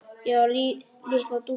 Ég var litla dúkkan þín.